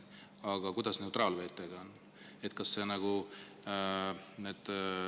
Aga kuidas on neutraalvetega?